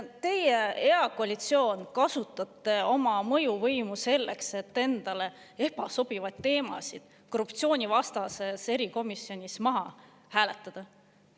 Teie, hea koalitsioon, kasutate oma mõjuvõimu selleks, et endale ebasobivaid teemasid korruptsioonivastases erikomisjonis maha hääletada.